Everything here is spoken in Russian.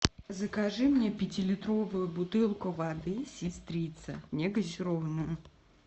закажи мне пятилитровую бутылку воды сестрица негазированную